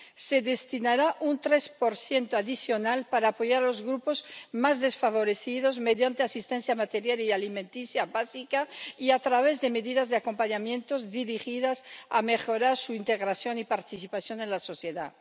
Se destinará un 3 adicional para apoyar a los grupos más desfavorecidos mediante asistencia material y alimenticia básica y a través de medidas de acompañamiento dirigidas a mejorar su integración y participación en la sociedad.